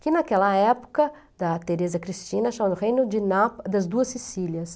Que naquela época, da Teresa Cristina, chama reino de na das Duas Sicílias.